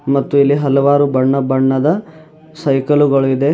ಮತ್ತು ಅಲ್ಲಿ ಹಲವಾರು ಬಣ್ಣ ಬಣ್ಣದ ಸೈಕಲು ಗಳು ಇದೆ.